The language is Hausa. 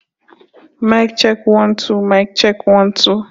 A'a, za ta yi wankin daga baya.